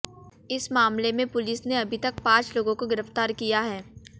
इस मामले में पुलिस ने अभी तक पांच लोगों को गिरफ्तार किया है